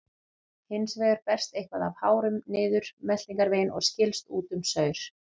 Hins vegar berst eitthvað af hárum niður meltingarveginn og skilst út með saur.